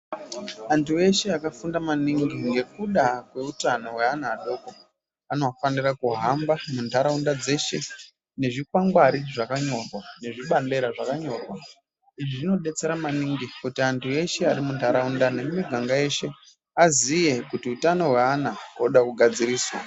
Antu eshe akafunda maningi ngekuda kweutano kweana adoko, anofanira kuhamba muntaraunda dzeshenezvikwangwari zvakanyorwa, nezvibandera zvakanyorwa. Izvi zvinodetsera maningi, kuti antu eshe ari muntaraunda nemiganga yeshe, aziye kuti utano hweana hunoda kugadzirisa.